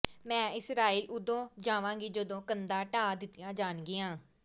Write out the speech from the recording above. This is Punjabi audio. ਮੈਂ ਇਸਰਾਈਲ ਉਦੋਂ ਜਾਵਾਂਗੀ ਜਦੋਂ ਕੰਧਾਂ ਢਾਹ ਦਿੱਤੀਆਂ ਜਾਣਗੀਆਂ